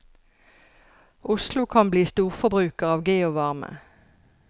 Oslo kan bli storforbruker av geovarme.